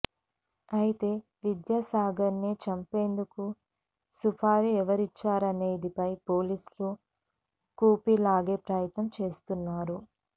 అయితే విద్యాసాగర్ ని చంపేందుకు సుపారీ ఎవరిచారనేదానిపై పోలీసులు కూపీ లాగే ప్రయత్నం చేస్తున్నారు